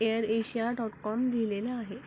Air Asia dot com लिहिलेल आहे.